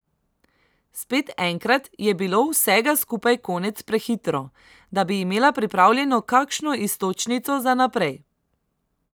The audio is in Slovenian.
Spet enkrat je bilo vsega skupaj konec prehitro, da bi imela pripravljeno kakšno iztočnico za naprej.